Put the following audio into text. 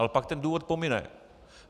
Ale pak ten důvod pomine.